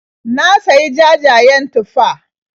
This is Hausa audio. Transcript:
Na sayi jajayen tufah.